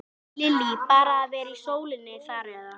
Lillý: Bara að vera í sólinni þar eða?